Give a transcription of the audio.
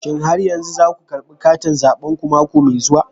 Shin har yanzu za ku karbi katin zabenku mako mai zuwa?